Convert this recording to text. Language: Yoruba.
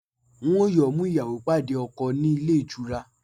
Wọn yóò mú ìyàwó pàdé ọkọ̀ ní ilé-ìtura